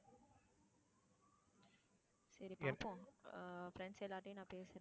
சரி பாப்போம் ஆஹ் friends எல்லார்கிட்டையும் நான் பேசுறேன்.